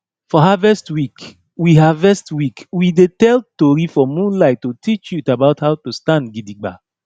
for harvest week we harvest week we dey tell tori for moonlight to teach youth about how to stand gidigba